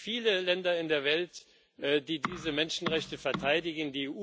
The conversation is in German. Es gibt nicht viele Länder in der Welt, die diese Menschenrechte verteidigen.